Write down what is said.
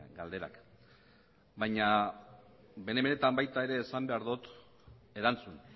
galderak baina bene benetan baita ere esan behar dut erantzun